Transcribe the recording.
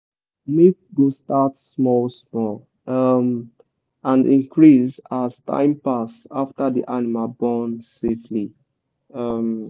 milk go start small small um and increase as time pass after the animal born safely. um